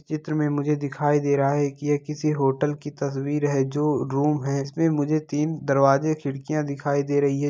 चित्र में मुझे दिखाई दे रहा है कि ये किसी होटल की तस्वीर है जो रुम है इसमें मुझे तीन दरवाजे खिड़कियां दिखाई दे रही हैं।